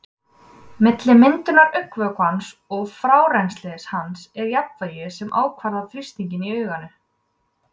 Milli myndunar augnvökvans og frárennslis hans er jafnvægi sem ákvarðar þrýstinginn í auganu.